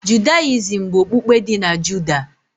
Judayizim bụ okpukpe dị na Judah